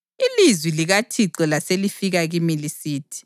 Ilizwi likaThixo laselifika kimi lisithi: